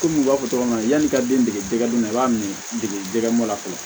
Kɔmi u b'a fɔ cogo min na yani i ka den dege don na i b'a minɛ dege dɛgɛ mɔ la fɔlɔ